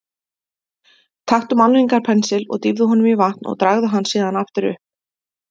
Taktu málningarpensil, dýfðu honum í vatn og dragðu hann síðan upp aftur.